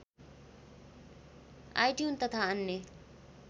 iTune तथा अन्य